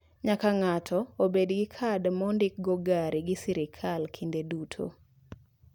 Nyaka ng'ato obed gi kad ma ondik go gari gi sirkal kinde duto.